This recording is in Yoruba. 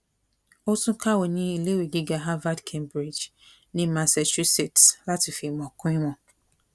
ó tún kàwé ní iléèwé gíga harvard cambridge ní massachusset láti fi ìmọ kún ìmọ